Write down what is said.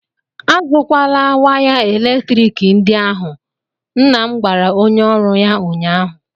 A zụkwala waya eletrik ndị ahụ! nna m gwara onye ọrụ ya ụnyaahụ!